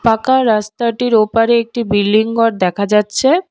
পাঁকা রাস্তাটির ওপারে একটি বিল্ডিং গর দেখা যাচ্ছে।